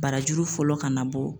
Barajuru fɔlɔ kana bɔ.